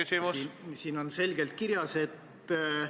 Raudteeseadust on menetletud pikka aega.